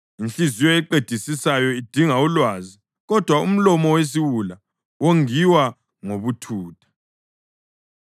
Inhliziyo eqedisisayo idinga ulwazi, kodwa umlomo wesiwula wongiwa ngobuthutha.